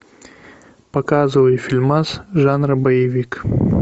показывай фильмас жанра боевик